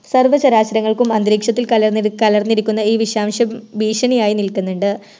സർവ്വ ചരാചരങ്ങൽക്കും അന്തരീക്ഷത്തിൽ കലർന്നി കലർന്നിരിക്കുന്ന ഈ വിഷാംശം ഭീഷണിയയായി നിൽക്ക്ന്ന്ണ്ട്